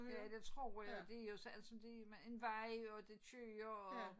Ja det tror jeg det jo så altså det med en vej og det kører og